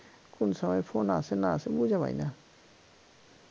কোন সময় phone আসে না আসে বুইঝা পাইনা